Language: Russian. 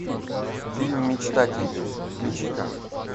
фильм мечтатели включи ка